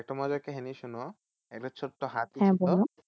একটা মজার কাহিনী ছিল শোনো একটা ছোট্ট